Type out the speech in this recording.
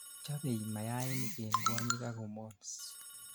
chobei mayainik en kwonyik ak hormones